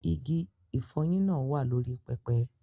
Igi ìfọyín náà wà lórí pẹpẹ.